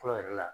Fɔlɔ yɛrɛ la